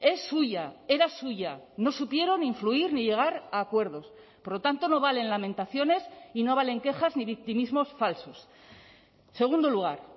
es suya era suya no supieron influir ni llegar a acuerdos por lo tanto no valen lamentaciones y no valen quejas ni victimismos falsos segundo lugar